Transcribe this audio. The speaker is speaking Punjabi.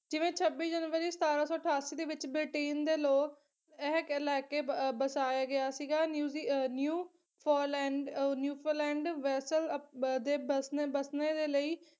ਜਿਵੇਂ ਛੱਬੀ ਜਨਵਰੀ ਸਤਾਰਾਂ ਸੌ ਅਠਾਸੀ ਦੇ ਵਿੱਚ ਬ੍ਰਿਟੇਨ ਦੇ ਲੋਕ ਇਹ ਕਹਿ ਲੈਕੇ ਬ ਬਸਾਏ ਗਿਆ ਸੀਗਾ ਨਿਊਜ਼ੀ new ਫੋਲੈਂਡ ਨਿਊਫੋਲੈਂਡ ਵੈਸਲ ਅਪ ਦੇ ਬਸਣ ਬਸਣੇ ਦੇ ਲਈ